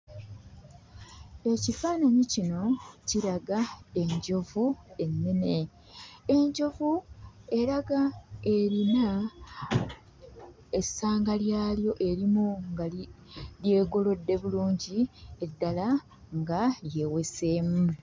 Ekifaananyi kino kiraga enjovu ennene. Enjovu eraga erina essanga lyalyo erimu nga lyegolodde bulungi, eddala nga lyeweseemu.